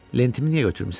Lentimi niyə götürmüsən?